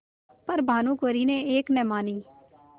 पर भानुकुँवरि ने एक न मानी